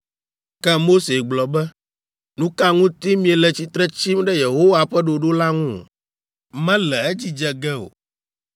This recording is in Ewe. Ke Mose gblɔ be, “Nu ka ŋuti miele tsitre tsim ɖe Yehowa ƒe ɖoɖo la ŋu? Mele edzi dze ge o!